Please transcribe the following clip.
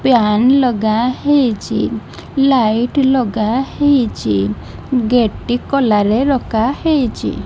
PAN ଲଗା ହେଇଚି light ଲଗା ହେଇଚି ଗେଟ୍ ଟି କୋଲା ରେ ରଖା ହେଇଚି ।